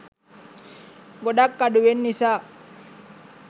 ගොඩක් අඩුවෙන් නිසා.